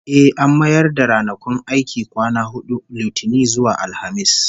Eh, an mayar da ranakun aiki kwana hudu, Litinin zuwa Alhamis